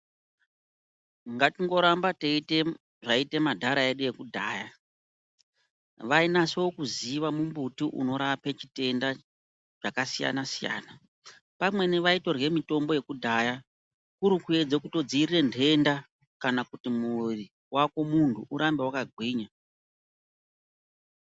Ngatingo ramba teiite zvaiita madhara edu ekudhaya. Vainaso kuziya mumbuti unorapa chitenda zvakasiyana-siyana. Pamweni vaitorye mitombo yakudhaya kurikuedze kutodzivirire nhenda kana kuti muviri vako muntu urambe vakagwinya.